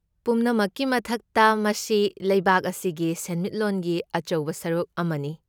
ꯄꯨꯝꯅꯃꯛꯀꯤ ꯃꯊꯛꯇ, ꯃꯁꯤ ꯂꯩꯕꯥꯛ ꯑꯁꯤꯒꯤ ꯁꯦꯟꯃꯤꯠꯂꯣꯟꯒꯤ ꯑꯆꯧꯕ ꯁꯔꯨꯛ ꯑꯃꯅꯤ꯫